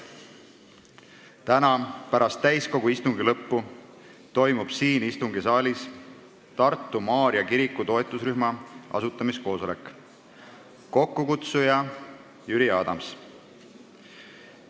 Täna pärast täiskogu istungi lõppu toimub istungisaalis Tartu Maarja kiriku toetusrühma asutamiskoosolek, kokkukutsuja on Jüri Adams.